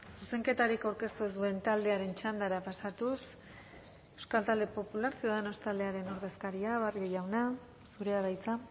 zuzenketarik aurkeztu ez duen taldearen txandara pasatuz euskal talde popular ciudadanos taldearen ordezkaria barrio jauna zurea da hitza